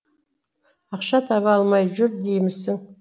ақша таба алмай жүр деймісің